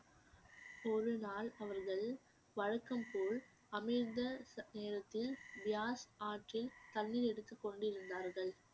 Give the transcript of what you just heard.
ஒரு நாள் அவர்கள் வழக்கம் போல் அமிர்த ச~ நேரத்தில் பியார்ஸ் ஆற்றில் தண்ணீர் எடுத்துக் கொண்டிருந்தார்கள்